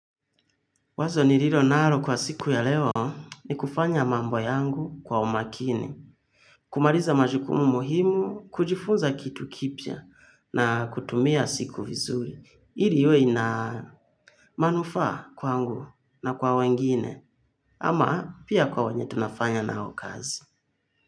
Wazo nililo nalo kwa siku ya leo ni kufanya mambo yangu kwa umakini. Kumaliza majukumu muhimu, kujifunza kitu kipya na kutumia siku vizuri. Ili iwe ina manufaa kwangu na kwa wengine ama pia kwa wenye tunafanya nao kazi.